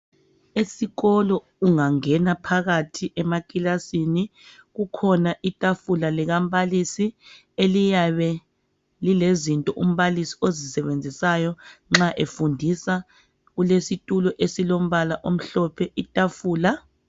Esikolo ungangena phakathi emaklasini kukhona itafula likambalisi eliyabe lilezinto umbalisi ozisebenzisayo nxa efundisa kulesitulo esilombala omhlophe itafula.